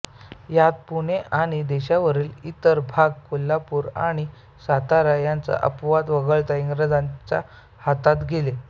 यात पुणे आणि देशावरील इतर भाग कोल्हापूर आणि सातारा यांचा अपवाद वगळता इंग्रजांच्या हातात गेले